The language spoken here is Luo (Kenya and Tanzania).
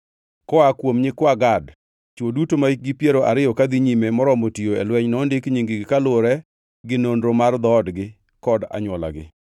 Koa kuom nyikwa Gad: Chwo duto mahikgi piero ariyo kadhi nyime moromo tiyo e lweny nondik nying-gi, kaluwore gi nonro mar dhoodgi kod anywolagi.